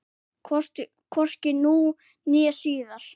Hvorki nú né síðar.